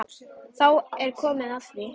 Þá er komið að því!